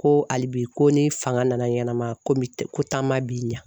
Ko ali bi ko ni fanga nana ɲɛnɛma komi ko taama b'i ɲa